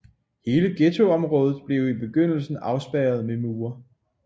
Hele ghettoområdet blev i begyndelsen afspærret med mure